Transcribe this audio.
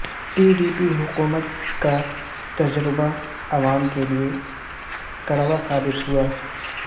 پی ڈی پی حکومت کا تجربہ عوام کیلئے کڑوا ثابت ہوا